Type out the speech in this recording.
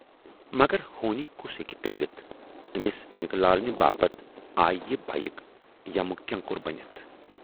مگر ہونی کُس ہیکہِ ٹٲلِتھ تہٕ ٲمِس نِکہٕ لالنہِ باپتھ آیہِ یہِ بایِک یمہٕ کینکُر بٔنِتھ۔